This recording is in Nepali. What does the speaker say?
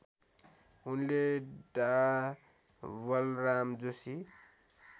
उनले डा बलराम जोशी